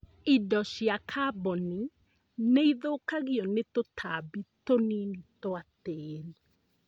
Indo cia kaboni nĩithũkagio nĩ tũtambi tũnini twa tĩri